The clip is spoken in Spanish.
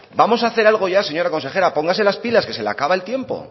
vamos a hacer algo ya señora consejera póngase las pilas que se le acaba el tiempo